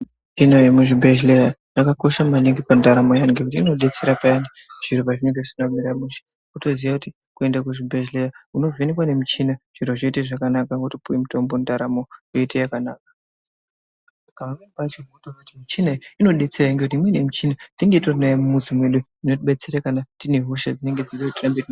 Michina yemuzvibhedhlera yakakosha maningi pandaramo yedu ngekuti inodetsera Payani zviro pazvinenge zvisina kumira mushe wotoziva kuti kuenda kuchibhedhlera unovhenekwa nemuchini zvoita zvakanaka wotopuwa muchini ndaramo yoita yakanaka imweni yemuchina iyi tenge titori naye mumizi medu yeitidetsera kune hosha dzatinenge tinadzo.